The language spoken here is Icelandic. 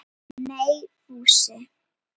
Nei, Fúsi.